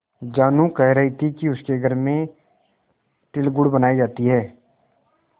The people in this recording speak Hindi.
जानू कह रही थी कि उसके घर में तिलगुड़ बनायी जाती है